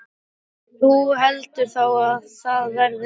Þú heldur þá að það verði stelpa?